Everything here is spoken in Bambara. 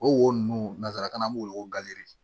O wo ninnu nanzarakan na an b'o wele ko gafe